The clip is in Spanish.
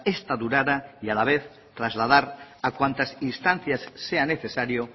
esta durara y a la vez trasladar a cuantas instancias sea necesario